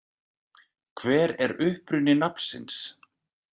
Hver er uppruni nafnsins?